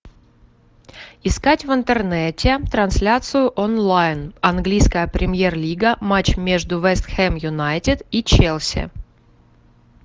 искать в интернете трансляцию онлайн английская премьер лига матч между вест хэм юнайтед и челси